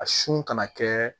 A sun kana kɛ